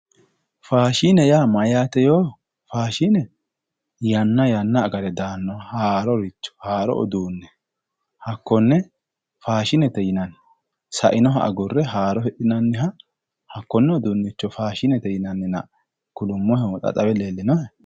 faashine yaa mayyaate yoo yanna agate daannoha haaroricho haaro uduunne hakkonne faashinete yinanni sainoha agurre haaro hidhinanniha hakkonne uduunnicho faashinete yinannina kulummohehu xa xawe leellinohe.